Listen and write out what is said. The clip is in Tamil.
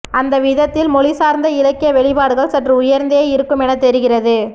அந்த விதத்தில் மொழி சார்ந்த இலக்கிய வெளிப்பாடுகள் சற்று உயர்ந்தே இருக்குமென தெரிகிறது